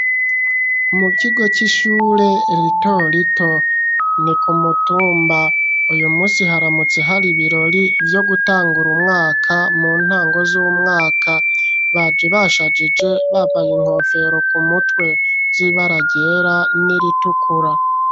Mukigo c'ishure ritorito ni kumutumba uyu musi haramutse hari ibirori vyo gutangura umwaka mu ntango z'umwaka baji bashajije bavaye inkofero ku mutwe zibaragera n'iritukura.